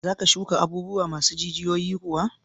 Za ka shuka abubuwa masu jijiyoyi kuwa?